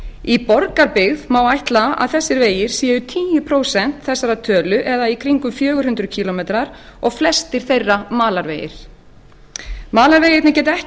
í borgarbyggð má ætla að þessir vegir séu tíu prósent þessarar tölu eða í kringum fjögur hundruð kílómetrar og flestir þeirra malarvegir malarvegirnir geta ekki